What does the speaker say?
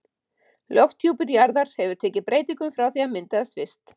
Lofthjúpur jarðar hefur tekið breytingum frá því að hann myndaðist fyrst.